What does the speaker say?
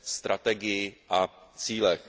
strategii a cílech.